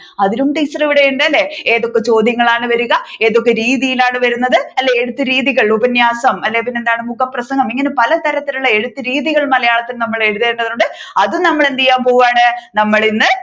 അതിനും ടീച്ചർ ഇവിടെ ഉണ്ട് അല്ലെ ഏതൊക്കെ ചോദ്യങ്ങളാണ് വരുക ഏതൊക്കെ രീതിയാലാണ് വരുന്നത് അല്ലെ ഏതൊക്കെ രീതികൾ ഉപന്യാസം അല്ലെങ്കിൽ എന്താണ് മുഖപ്രസംഗം ഇങ്ങനെ പലതരത്തിലുള്ള എഴുത്തുരീതികൾ മലയാളത്തിൽ നമ്മൾ എഴുതേണ്ടതുണ്ട് അതും നമ്മൾ എന്തുചെയ്യാൻ പോവുകയാണ് നമ്മൾ ഇന്ന് ഇവിടുന്നു